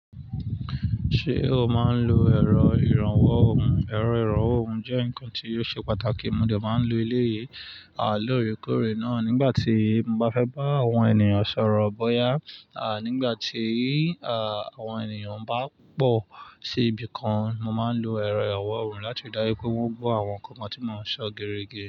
Ṣé o máa ń lo ẹ̀rọ ìrànwọ́ ohùn? Ẹ̀rọ ìrànwọ́ ohùn jẹ́ nǹkan tí yóò ṣe pàtàkì. Mo de máa ń lo eleyìí lóore kóre náà nígbà tí mo bá fẹ́ bá àwọn ènìyàn sọ̀rọ̀ bóyá à nígbà tí àwọn ènìyàn bá pọ̀ sí ibi kan. Mo máa ń lo ẹ̀rọ ìrànwọ́ ohùn láti ri daju pé wọ́n gbọ́ àwọn nǹkan tí mò ń sọ gere ge.